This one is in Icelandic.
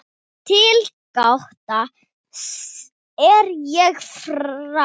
Tilgáta er sett fram.